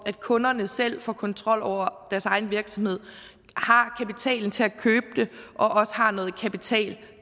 at kunderne selv får kontrol over deres egen virksomhed har kapitalen til at købe den og også har noget kapital